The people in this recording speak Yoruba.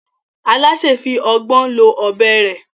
Alásè náà fi ọgbọ́n lo ọ̀bẹ rẹ̀